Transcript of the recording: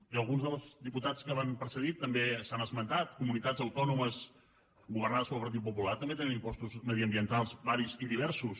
i alguns dels diputats que m’han precedit també ho han esmentat comunitats autònomes governades pel partit popular també tenen impostos mediambientals varis i diversos